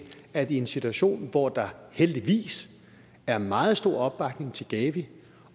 at vi i en situation hvor der heldigvis er meget stor opbakning til gavi